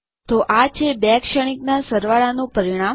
તો આ છે બે શ્રેણીક ના સરવાળા નું પરિણામ